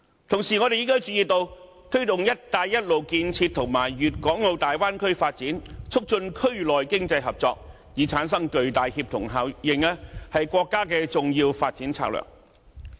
同時，我們亦注意到，推動"一帶一路"建設與粵港澳大灣區發展，促進區內經濟合作，以產生巨大協同效應，是國家的重要發展策略。